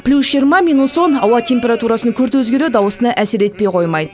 плюс жиырма минус он ауа температурасының күрт өзгеруі даусына әсер етпей қоймайды